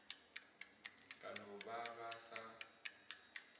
ka no ba ba sa